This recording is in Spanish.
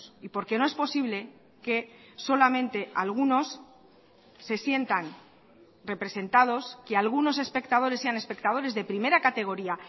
y porque no es posible que solamente algunos se sientan representados que algunos espectadores sean espectadores de primera categoría